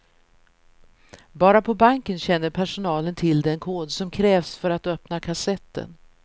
Bara på banken känner personalen till den kod som krävs för att öppna kassetten.